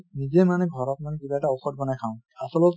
নিজে মানে ঘৰত মানে কিবা এটা ঔষধ বনাই খাঁও আছলত